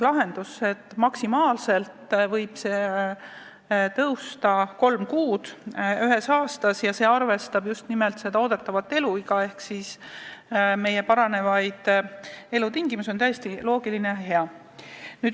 Lahendus, et maksimaalselt võib pensioniiga tõusta kolm kuud ühe aasta kohta, arvestab just nimelt eeldatavat eluiga ehk siis meie paranevaid elutingimusi ning on igati loogiline ja hea.